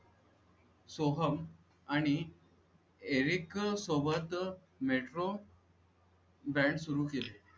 सोहम आणि एरिक सोबत metro band सुरू केले